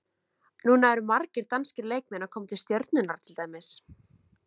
Núna eru margir danskir leikmenn að koma til Stjörnunnar til dæmis.